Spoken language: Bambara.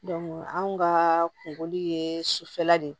anw ka kunkoli ye sufɛla de ye